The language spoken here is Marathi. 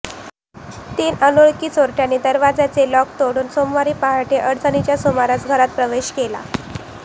तीन अनोळखी चोरट्यांनी दरवाजाचे लोक तोडून सोमवारी पहाटे अडीचच्या सुमारास घरात प्रवेश केला